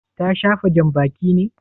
Ta shafa janbaki ne?